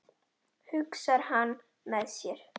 hugsar hann með sér.